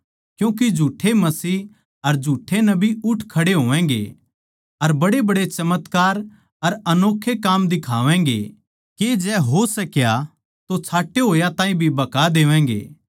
क्यूँके झूठ्ठे मसीह अर झूठ्ठे नबी उठ खड़े होवैगें अर बड़ेबड़े चमत्कार अर अनोक्खे काम दिखावैगें के जै हो सक्या तो छांटे होया ताहीं भी भका देवैगें